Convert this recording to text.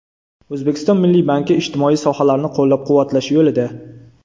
O‘zbekiston Milliy banki ijtimoiy sohalarni qo‘llab-quvvatlash yo‘lida.